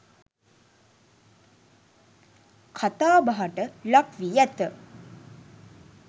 කතා බහට ලක් වී ඇත.